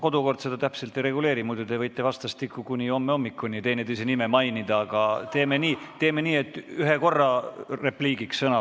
Kodukord seda täpselt ei reguleeri, muidu te võite vastastikku kuni homse hommikuni teineteise nime mainida, aga teeme nii, et ühe korra repliigiks sõna.